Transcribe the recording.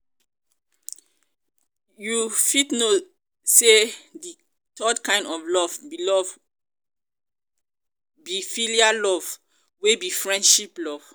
you fit know say di third kind of love be love be philia love wey be friendship love.